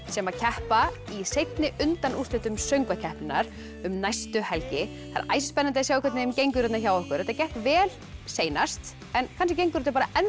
sem keppa í seinni undanúrslitum söngvakeppninnar um næstu helgi það er æsispennandi að sjá hvernig gengur hérna hjá okkur þetta gekk vel seinast en kannski gengur þetta bara